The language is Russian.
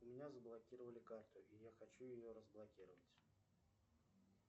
у меня заблокировали карту и я хочу ее разблокировать